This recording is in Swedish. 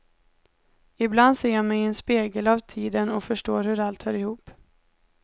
Ibland ser jag mig i en spegel av tiden och förstår hur allt hör ihop.